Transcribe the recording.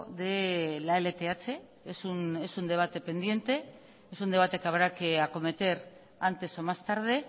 de la lth es un debate pendiente es un debate que habrá que acometer antes o más tarde